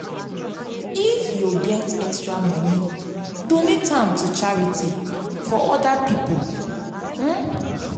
if yu get extra moni donate am to charity for oda pipo. for oda pipo.